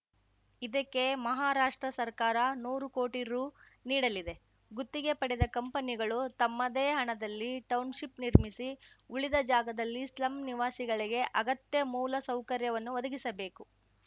ಇದಕ್ಕೆ ಮಹಾರಾಷ್ಟ್ರ ಸರ್ಕಾರ ನೂರು ಕೋಟಿ ರು ನೀಡಲಿದೆ ಗುತ್ತಿಗೆ ಪಡೆದ ಕಂಪನಿಗಳು ತಮ್ಮದೇ ಹಣದಲ್ಲಿ ಟೌನ್‌ಶಿಪ್‌ ನಿರ್ಮಿಸಿ ಉಳಿದ ಜಾಗದಲ್ಲಿ ಸ್ಲಮ್‌ ನಿವಾಸಿಗಳಿಗೆ ಅಗತ್ಯ ಮೂಲ ಸೌಕರ್ಯವನ್ನು ಒದಗಿಸಬೇಕು